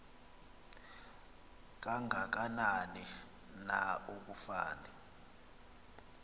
kangakanani na akufani